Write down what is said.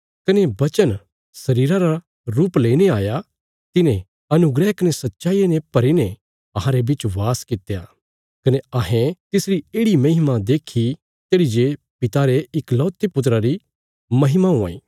कने वचन शरीरा रा रुप लेईने आया तिने अनुग्रह कने सच्चाईया ने भरी ने अहांरे बिच बास कित्या कने अहें तिसरी येढ़ि महिमा देक्खी तेढ़ी जे पिता रे इकलौते पुत्रा री महिमा हुआं इ